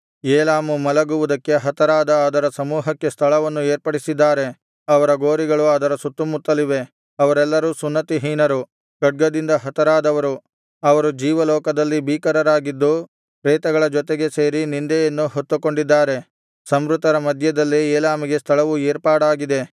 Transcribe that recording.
ಏಲಾಮು ಮಲಗುವುದಕ್ಕೆ ಹತರಾದ ಅದರ ಸಮೂಹಕ್ಕೆ ಸ್ಥಳವನ್ನು ಏರ್ಪಡಿಸಿದ್ದಾರೆ ಅವರ ಗೋರಿಗಳು ಅದರ ಸುತ್ತುಮುತ್ತಲಿವೆ ಅವರೆಲ್ಲರೂ ಸುನ್ನತಿಹೀನರು ಖಡ್ಗದಿಂದ ಹತರಾದವರು ಅವರು ಜೀವಲೋಕದಲ್ಲಿ ಭೀಕರರಾಗಿದ್ದು ಪ್ರೇತಗಳ ಜೊತೆಗೆ ಸೇರಿ ನಿಂದೆಯನ್ನು ಹೊತ್ತುಕೊಂಡಿದ್ದಾರೆ ಸಂಹೃತರ ಮಧ್ಯದಲ್ಲೇ ಏಲಾಮಿಗೆ ಸ್ಥಳವು ಏರ್ಪಾಡಾಗಿದೆ